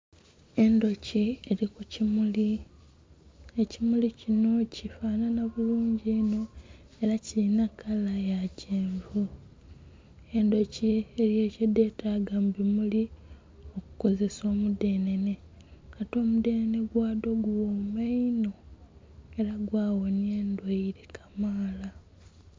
Endhoki eri ku kimuli ekimuli kinho kifanhana bulungi inho era kilinha kala ya kyenvu. Endhoki eriyo kye dhetaga mu bimuli okukozesa omu dhenene ate omu dhenene gwadho gughoma inho era gwa ghonhya endhwaire kamaala.